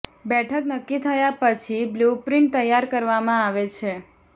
બેઠક નક્કી થયા પછી બ્લુપ્રિન્ટ તૈયાર કરવામાં આવે છે